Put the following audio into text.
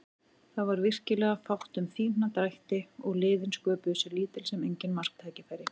Það var virkilega fátt um fína drætti og liðin sköpuðu sér lítil sem engin marktækifæri.